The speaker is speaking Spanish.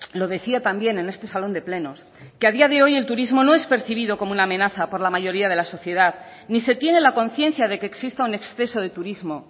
lo decía también en este salón de plenos que a día de hoy el turismo no es percibido como una amenaza por la mayoría de la sociedad ni se tiene la conciencia de que exista un exceso de turismo